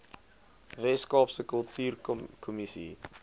wes kaapse kultuurkommissie